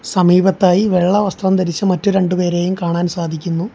സമീപത്തായി വെള്ള വസ്ത്രം ധരിച്ച മറ്റൊരു രണ്ട്‌ പേരെയും കാണാൻ സാധിക്കുന്നു.